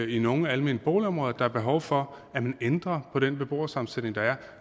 i nogle almene boligområder at der er behov for at man ændrer på den beboersammensætning der er